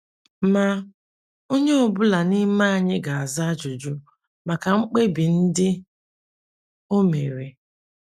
Ma, onye ọ bụla n’ime anyị ga - aza ajụjụ maka mkpebi ndị o mere.